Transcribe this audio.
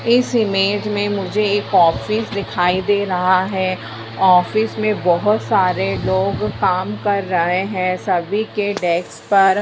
इस इमेज में मुझे एक ऑफिस दिखाई दे रहा है ऑफिस में बहोत सारे लोग काम कर रहे हैं सभी की डेस्क पर --